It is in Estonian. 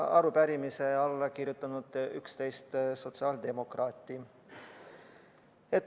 Arupärimisele on alla kirjutanud 11 sotsiaaldemokraati.